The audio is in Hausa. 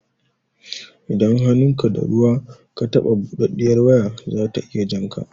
Idan hannunka da ruwa ka taɓa buɗaɗɗiyar waya zata iya jan ka